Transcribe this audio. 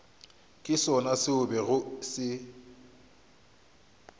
ke sona se bego se